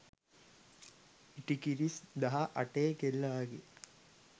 ඉටිකිරිස් දහ අටේ කෙල්ල වගේ